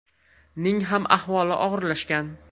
ning ham ahvoli og‘irlashgan.